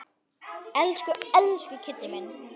Elsku, elsku Kiddi minn.